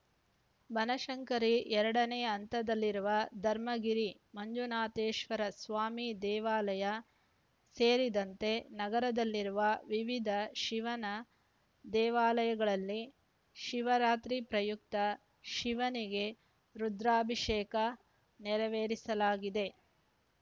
ಬನಶಂಕರಿ ಎರಡನೇ ಹಂತದಲ್ಲಿರುವ ಧರ್ಮಗಿರಿ ಮಂಜುನಾಥೇಶ್ವರ ಸ್ವಾಮಿ ದೇವಾಲಯ ಸೇರಿದಂತೆ ನಗರದಲ್ಲಿರುವ ವಿವಿಧ ಶಿವನ ದೇವಾಲಯಗಳಲ್ಲಿ ಶಿವರಾತ್ರಿ ಪ್ರಯುಕ್ತ ಶಿವನಿಗೆ ರುದ್ರಾಭಿಷೇಕ ನೆರವೇರಿಸಲಾಗಿದೆ